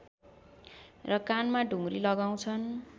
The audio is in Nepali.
र कानमा ढुङ्ग्री लगाउँछन्